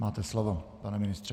Máte slovo, pane ministře.